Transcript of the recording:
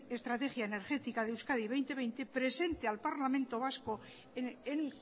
estrategia energética de euskadi dos mil veinte presente al parlamento vasco en